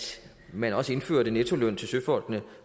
man også indførte nettoløn til søfolkene